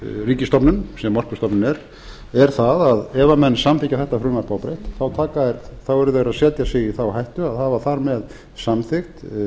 ríkisstofnun sem orkustofnun er er það ef menn samþykkja þetta frumvarp óbreytt þá eru þeir að setja sig í þá hættu að hafa þar með samþykkt